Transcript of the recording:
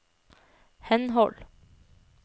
henhold